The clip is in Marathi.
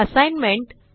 असाइनमेंट